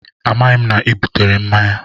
Amaghị m na ị butere mmanya